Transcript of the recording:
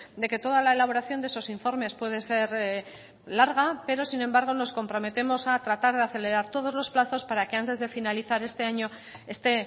de que toda la elaboración de esos informes puede ser larga pero sin embargo nos comprometemos a tratar de acelerar todos los plazos para que antes de finalizar este año esté